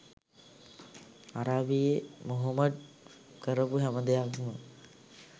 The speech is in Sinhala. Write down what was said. අරාබියේ මොහොමඩ් කරපු හැම දෙයක්ම